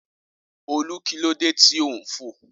Olú kí ló dé tí o ńfò